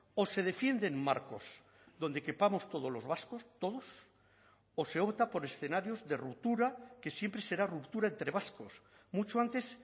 o se defienden marcos donde quepamos todos los vascos todos o se opta por escenarios de ruptura que siempre será ruptura entre vascos mucho antes